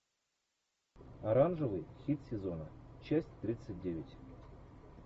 оранжевый хит сезона часть тридцать девять